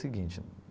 O seguinte.